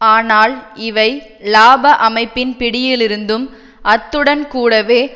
ஆனால் இவை இலாப அமைப்பின் பிடியிலிருந்தும் அத்துடன் கூடவே